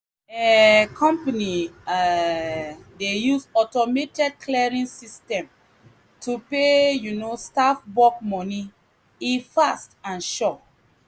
um company um dey use automated clearing system to pay um staff bulk money e fast and sure.